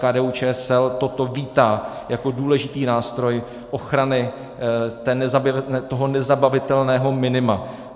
KDU-ČSL toto vítá jako důležitý nástroj ochrany toho nezabavitelného minima.